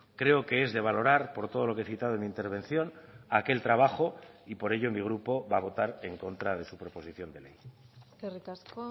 creo que es de valorar por todo lo que he citado en mi intervención aquel trabajo y por ello mi grupo va a votar en contra de su proposición de ley eskerrik asko